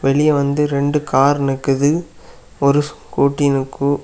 வெளிய வந்து ரெண்டு கார் நிக்குது ஒரு ஸ்கூட்டி நிக்கு.